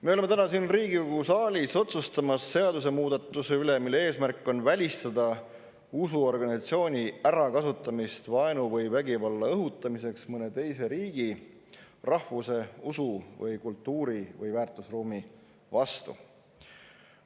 Me oleme täna siin Riigikogu saalis otsustamas seadusemuudatuse üle, mille eesmärk on välistada usuorganisatsiooni ärakasutamist vaenu või vägivalla õhutamiseks mõne teise riigi, rahvuse, usu või kultuuri‑ või väärtusruumi vastu.